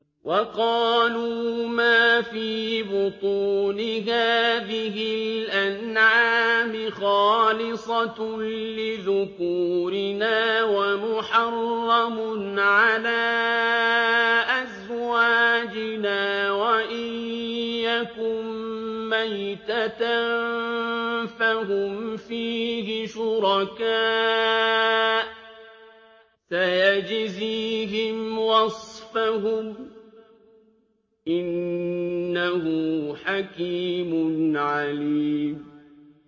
وَقَالُوا مَا فِي بُطُونِ هَٰذِهِ الْأَنْعَامِ خَالِصَةٌ لِّذُكُورِنَا وَمُحَرَّمٌ عَلَىٰ أَزْوَاجِنَا ۖ وَإِن يَكُن مَّيْتَةً فَهُمْ فِيهِ شُرَكَاءُ ۚ سَيَجْزِيهِمْ وَصْفَهُمْ ۚ إِنَّهُ حَكِيمٌ عَلِيمٌ